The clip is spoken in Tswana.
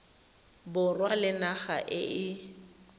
borwa le naga e e